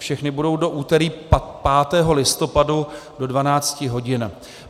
Všechny budou do úterý 5. listopadu do 12 hodin.